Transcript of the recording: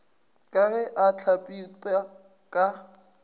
ka ge a hlagipwa ka